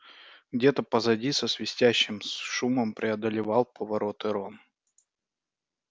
где-то позади со свистящим шумом преодолевал повороты рон